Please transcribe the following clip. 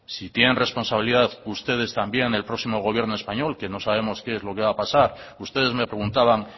si tienen responsabilidad ustedes también en el próximo gobierno español que no sabemos qué es lo que va a pasar ustedes me preguntaban